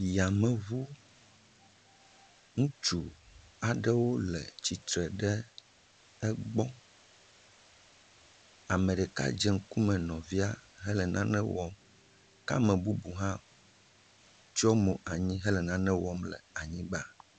Yameŋu, ŋutsu aɖewo le tsitre ɖe egbɔ. Ame ɖeka dze ŋkume nɔvia hele nane wɔm. Ke ame bubu hã tsyɔ mo anyi hele nane wɔm le anyigba.